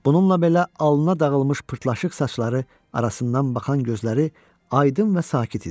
Bununla belə alına dağılmış pırtlaşıq saçları arasından baxan gözləri aydın və sakit idi.